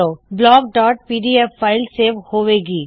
blockਪੀਡੀਐਫ file save ਹੋਵੇ ਗੀ